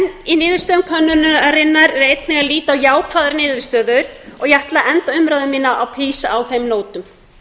í niðurstöðum könnunarinnar er einnig að líta á jákvæðar niðurstöður ég ætla að enda umræðu mína á þeim nótum